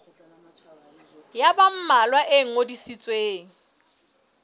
ya ba mmalwa e ngodisitsweng